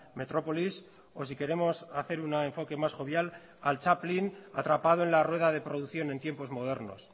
metrópolis o si queremos hacer un enfoque más jovial al chaplin atrapado en la rueda de producción en tiempos modernos